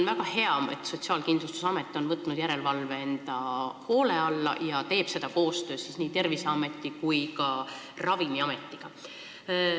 Väga hea, et Sotsiaalkindlustusamet on võtnud järelevalve enda hoole alla ja teeb seda koostöös nii Terviseameti kui ka Ravimiametiga.